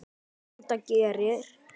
Enda gerir